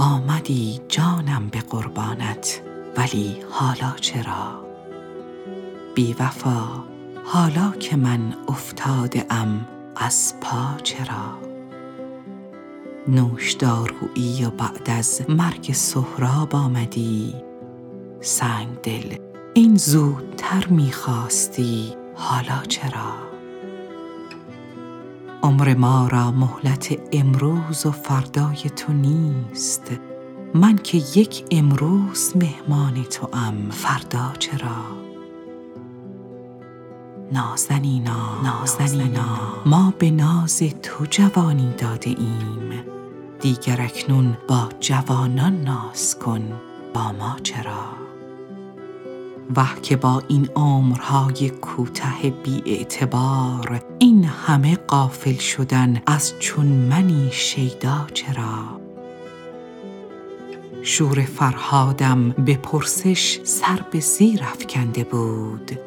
آمدی جانم به قربانت ولی حالا چرا بی وفا حالا که من افتاده ام از پا چرا نوشدارویی و بعد از مرگ سهراب آمدی سنگ دل این زودتر می خواستی حالا چرا عمر ما را مهلت امروز و فردای تو نیست من که یک امروز مهمان توام فردا چرا نازنینا ما به ناز تو جوانی داده ایم دیگر اکنون با جوانان ناز کن با ما چرا وه که با این عمرهای کوته بی اعتبار این همه غافل شدن از چون منی شیدا چرا شور فرهادم به پرسش سر به زیر افکنده بود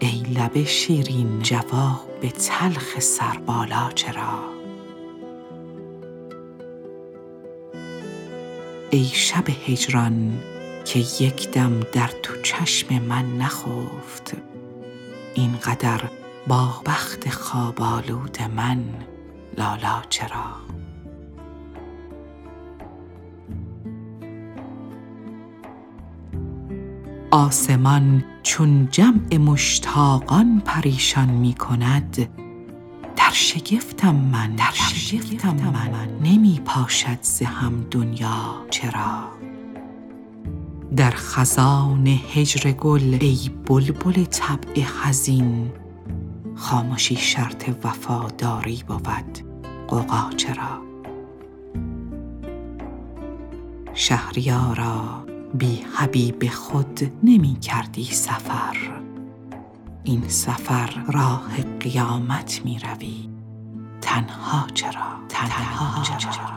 ای لب شیرین جواب تلخ سربالا چرا ای شب هجران که یک دم در تو چشم من نخفت این قدر با بخت خواب آلود من لالا چرا آسمان چون جمع مشتاقان پریشان می کند در شگفتم من نمی پاشد ز هم دنیا چرا در خزان هجر گل ای بلبل طبع حزین خامشی شرط وفاداری بود غوغا چرا شهریارا بی حبیب خود نمی کردی سفر این سفر راه قیامت می روی تنها چرا